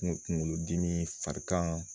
Kunkolodimi farikan